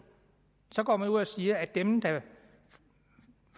så går man ud og siger at dem der